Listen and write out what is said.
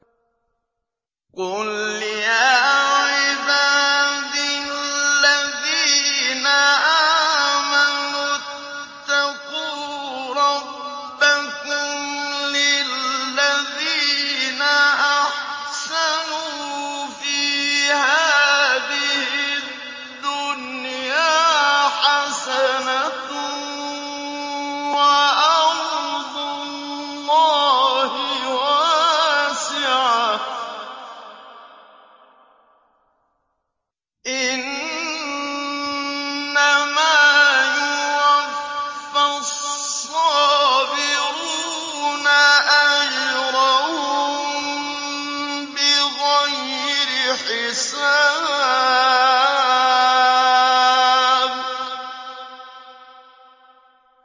قُلْ يَا عِبَادِ الَّذِينَ آمَنُوا اتَّقُوا رَبَّكُمْ ۚ لِلَّذِينَ أَحْسَنُوا فِي هَٰذِهِ الدُّنْيَا حَسَنَةٌ ۗ وَأَرْضُ اللَّهِ وَاسِعَةٌ ۗ إِنَّمَا يُوَفَّى الصَّابِرُونَ أَجْرَهُم بِغَيْرِ حِسَابٍ